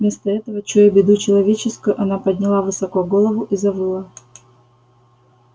вместо этого чуя беду человеческую она подняла высоко голову и завыла